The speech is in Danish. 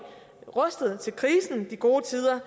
rustet til krisen de gode tider